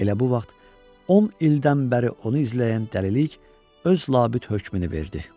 Elə bu vaxt on ildən bəri onu izləyən dəlilik öz labüd hökmünü verdi.